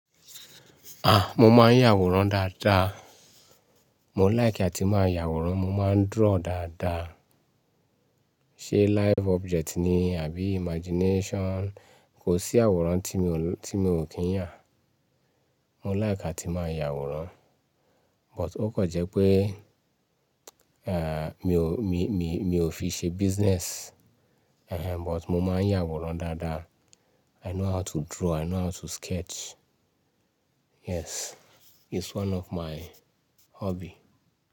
Àh!, Mo máa ń yàwòrán dáadáa. Mo like àti máa yàwòrán, mo máa ń draw dáadáa. Live object ni àbí imagination, kò sí àwòrán tí mi ò kí ń yà. Mo like àti máa yàwòrán. But ó kan jẹ́ pé, eh, mi ò fi ṣe business. Ehen, but mo máa ń yàwòrán dáadáa. I know how to draw, I know how to sketch. Yes, it's one of my hobby.